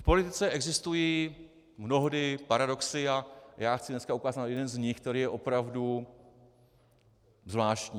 V politice existují mnohdy paradoxy a já chci dneska ukázat na jeden z nich, který je opravdu zvláštní.